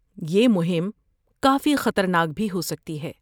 یہ مہم کافی خطرناک بھی ہو سکتی ہے۔